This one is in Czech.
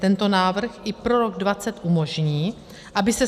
Tento návrh i pro rok 2020 umožní, aby se